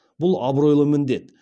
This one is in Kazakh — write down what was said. бұл абыройлы міндет